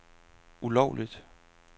ulovligt